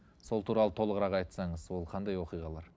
сол туралы толығырақ айтсаңыз ол қандай оқиғалар